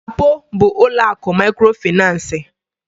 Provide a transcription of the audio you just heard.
LAPO bu ụlọakụ mikrofinansi.